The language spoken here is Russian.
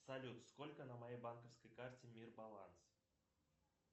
салют сколько на моей банковской карте мир баланс